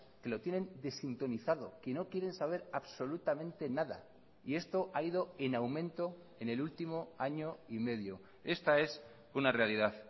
que lo tienen desintonizado que no quieren saber absolutamente nada y esto ha ido en aumento en el último año y medio esta es una realidad